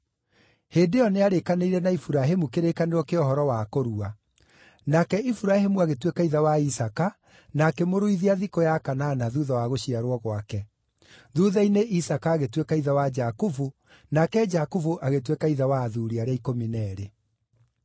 Hĩndĩ ĩyo nĩarĩkanĩire na Iburahĩmu kĩrĩkanĩro kĩa ũhoro wa kũrua. Nake Iburahĩmu agĩtuĩka ithe wa Isaaka na akĩmũruithia thikũ ya kanana thuutha wa gũciarwo gwake. Thuutha-inĩ Isaaka agĩtuĩka ithe wa Jakubu, nake Jakubu agĩtuĩka ithe wa athuuri arĩa ikũmi na eerĩ.